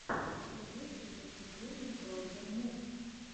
что есть из выступлений грогер мув